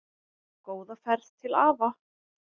Góða ferð til afa.